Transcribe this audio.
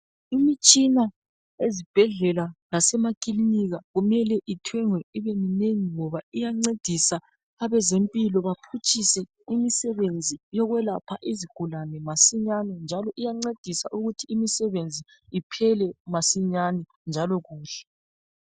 imitshina ezibhedlela lasemakilinika kumele ithengwe ibe minengi ngoba iyancedisa abezempilo baphutshise imisebenzi yokwelapha izigulane masinyane njalo iyancedisa ukuthi imisebenzi iphele masinyane njalo kuhle